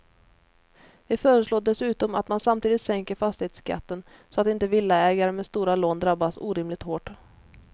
Vi föreslår dessutom att man samtidigt sänker fastighetsskatten så att inte villaägare med stora lån drabbas orimligt hårt.